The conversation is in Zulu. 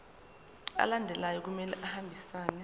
alandelayo kumele ahambisane